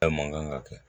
Bɛɛ man kan ka kɛ